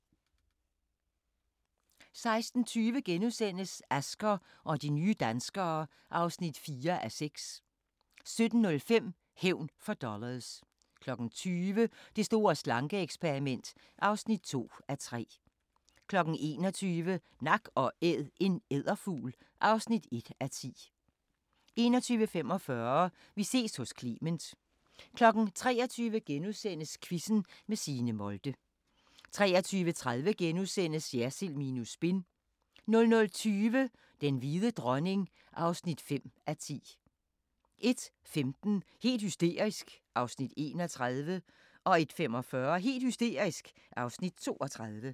16:20: Asger og de nye danskere (4:6)* 17:05: Hævn for dollars 20:00: Det store slanke-eksperiment (2:3) 21:00: Nak & Æd – en edderfugl (1:10) 21:45: Vi ses hos Clement 23:00: Quizzen med Signe Molde * 23:30: Jersild minus spin * 00:20: Den hvide dronning (5:10) 01:15: Helt hysterisk (Afs. 31) 01:45: Helt hysterisk (Afs. 32)